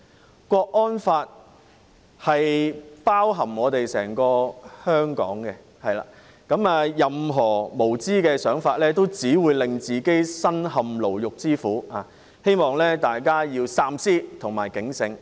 港區國安法包含整個香港，任何無知的想法只會令自己身陷牢獄之苦，希望大家三思及警醒。